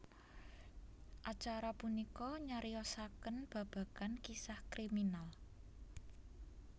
Acara punika nyariosakèn babagan kisah kriminal